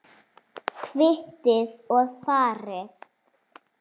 Kvittið og farið.